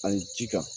An ye jija